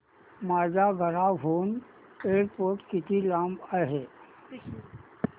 माझ्या घराहून एअरपोर्ट किती लांब आहे